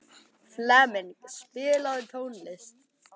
Flemming, spilaðu tónlist.